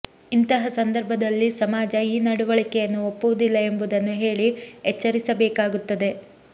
ಇಂತಹ ಸಂದರ್ಭದಲ್ಲಿ ಸಮಾಜ ಈ ನಡವಳಿಕೆಯನ್ನು ಒಪ್ಪುವುದಿಲ್ಲ ಎಂಬುದನ್ನು ಹೇಳಿ ಎಚ್ಚರಿಸಬೇಕಾಗುತ್ತದೆ